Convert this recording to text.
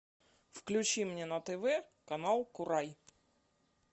включи мне на тв канал курай